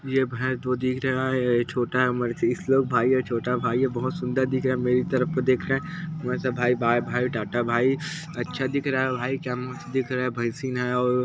ये भैंस जो दिख रहा है छोटा श्लोक भाई है छोटा भाई है बहुत सुंदर दिख रहा है मेरी तरफ देख रहा है वैसा भाई वाह भाई टाटा भाई अच्छा दिख रहा है भाई क्या मस्त दिख रहा है भैसीन हैऔर --